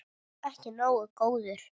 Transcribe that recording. Ekki nógu góður!